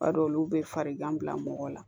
B'a dɔn olu be farigan bila mɔgɔ la